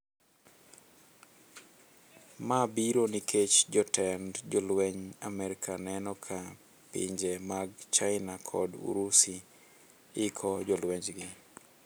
Ma biro nikech jotend jolwenj Amerka neno ka pinje mag china kod urusi iko jolwenjgi.